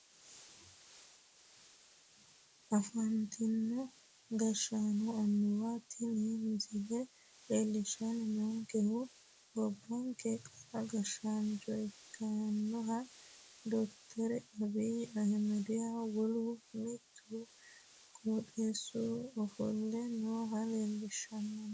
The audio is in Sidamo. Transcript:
Afantino gashshaanonna annuwa tini misile leellishshanni noonkehu gobbankeha qara gshshaancho ikkinohu doctor abiyi ahimedihunn wolu mittu qotisira ofolle noohu leellanno